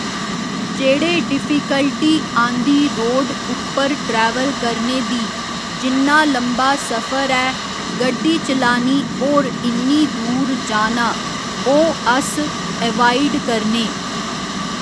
जेह्ड़े डिफीकल्टी आंदी रोड उप्पर ट्रैवल करने दी जिन्ना लम्बा सफर ऐ गड्डी चलानी होर इन्नी दूर जाना ओह् अस ऐवाईड करने